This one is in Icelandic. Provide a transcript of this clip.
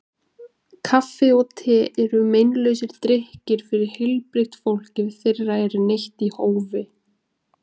Kaffi og te eru meinlausir drykkir fyrir heilbrigt fólk ef þeirra er neytt í hófi.